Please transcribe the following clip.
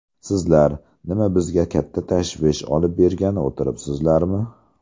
Sizlar, nima bizga katta tashvish olib bergani o‘tiribsizlarmi?